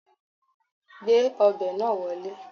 Gbé ọbẹ̀ náà wọlé